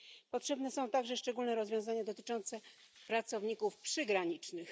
Potrzebne są także szczególne rozwiązania dotyczące pracowników przygranicznych.